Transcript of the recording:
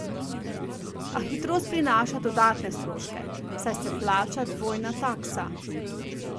A hitrost prinaša dodatne stroške, saj se plača dvojna taksa.